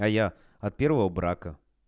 а я от первого брака